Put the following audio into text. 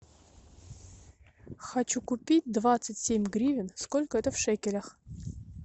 хочу купить двадцать семь гривен сколько это в шекелях